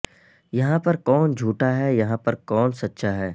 یہاں پر کون جھوٹا ہے یہاں پر کون سچا ہے